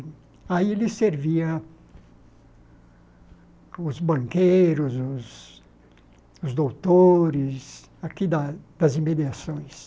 E aí ele servia os banqueiros, os os doutores, aqui da das emediações.